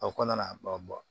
A ko na ba